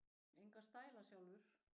Enga stæla, sjálfur!